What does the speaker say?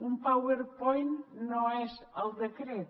un powerpoint no és el decret